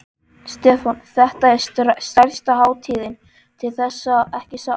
Stefán: Þetta er stærsta hátíðin til þessa, ekki satt?